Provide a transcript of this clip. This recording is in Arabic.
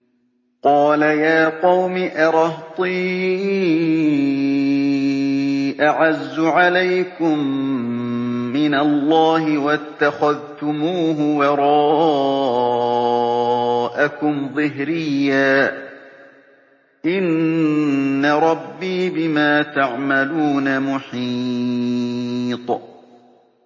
قَالَ يَا قَوْمِ أَرَهْطِي أَعَزُّ عَلَيْكُم مِّنَ اللَّهِ وَاتَّخَذْتُمُوهُ وَرَاءَكُمْ ظِهْرِيًّا ۖ إِنَّ رَبِّي بِمَا تَعْمَلُونَ مُحِيطٌ